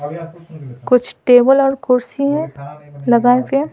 कुछ टेबल और कुर्सी लगाए हुए --